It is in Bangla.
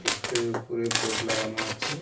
ইস্টোরের ওপরে বোর্ড লাগানো আছে .